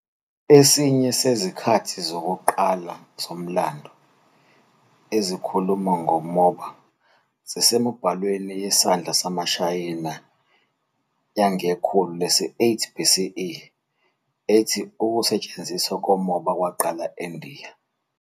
Esinye sezikhathi zokuqala zomlando ezikhuluma ngomoba sisemibhalweni yesandla yamaShayina yangekhulu lesi-8 BCE, ethi ukusetshenziswa komoba kwaqala eNdiya.